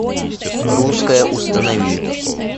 русское установи